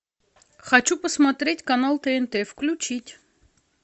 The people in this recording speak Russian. хочу посмотреть канал тнт включить